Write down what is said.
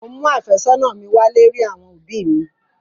Mò ń mú àfẹ́sọ́nà mi wálé rí àwọn òbí mi.